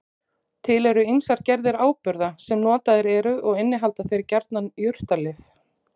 Til eru ýmsar gerðir áburða sem notaðir eru og innihalda þeir gjarnan jurtalyf.